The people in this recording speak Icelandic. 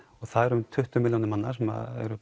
og það eru um tuttugu milljónir manna sem eru